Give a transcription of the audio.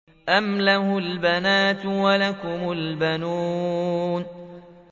أَمْ لَهُ الْبَنَاتُ وَلَكُمُ الْبَنُونَ